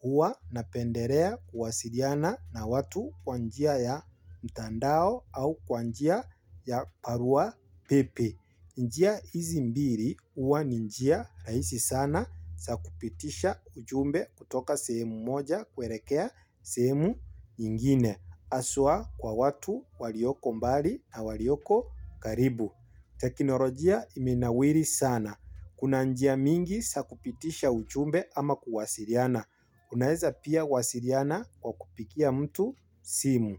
Huwa napendelea kuwasiliana na watu kwa njia ya mtandao au kwa njia ya barua pepe. Njia hizi mbili uwa ni njia rahisi sana za kupitisha ujumbe kutoka sehemu moja kuelekea sehemu nyingine. Haswa kwa watu walioko mbali na walioko karibu. Tekinolojia imenawiri sana. Kuna njia mingi za kupitisha ujumbe ama kuwasiliana. Unaeza pia wasiliana kwa kupigia mtu simu.